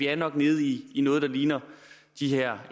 er nede i noget der ligner